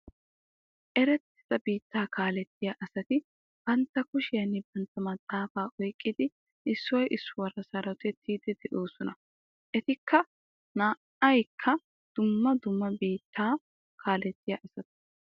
Erettida biittaa kaalettiya asati bantta kushiyan bantta maxaafaa oyqqidi issoy issuwara sarotettiiddi de'oosona. Eti naa"aykka dumma dumma biittaa kaalettiya asata.